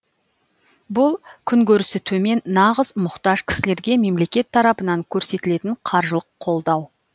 бұл күнкөрісі төмен нағыз мұқтаж кісілерге мемлекет тарапынан көрсетілетін қаржылық қолдау